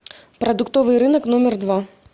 продуктовый рынок номер два